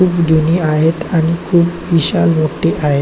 खूप जुनी आहेत आणि खूप विशाल मोठी आहे.